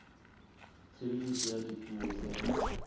tshebediso ya dipuo tse ngata